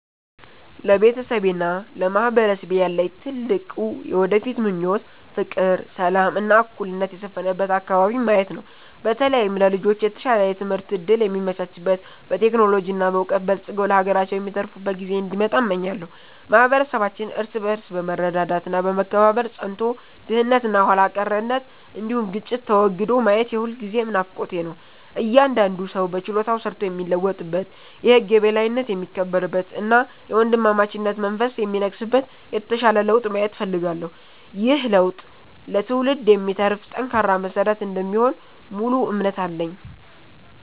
ለቤተሰቤና ለማህበረሰቤ ያለኝ ትልቁ የወደፊት ምኞት ፍቅር፣ ሰላም እና እኩልነት የሰፈነበት አከባቢን ማየት ነው። በተለይም ለልጆች የተሻለ የትምህርት እድል የሚመቻችበት፣ በቴክኖሎጂ እና በዕውቀት በልጽገው ለሀገራቸው የሚተርፉበት ጊዜ እንዲመጣ እመኛለሁ። ማህበረሰባችን እርስ በርስ በመረዳዳት እና በመከባበር ጸንቶ፣ ድህነት እና ኋላ ቀርነት እንዲሁም ግጭት ተወግዶ ማየት የሁልጊዜም ናፍቆቴ ነው። እያንዳንዱ ሰው በችሎታው ሰርቶ የሚለወጥበት፣ የህግ የበላይነት የሚከበርበት እና የወንድማማችነት መንፈስ የሚነግስበት የተሻለ ለውጥ ማየት እፈልጋለሁ። ይህ ለውጥ ለትውልድ የሚተርፍ ጠንካራ መሰረት እንደሚሆን ሙሉ እምነት አለኝ።